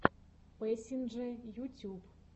пэсинджэ ютюб